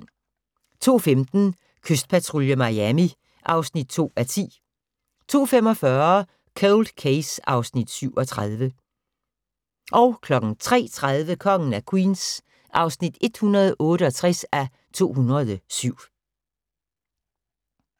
02:15: Kystpatrulje Miami (2:10) 02:45: Cold Case (Afs. 37) 03:30: Kongen af Queens (168:207)